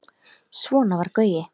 Svona var Gaui.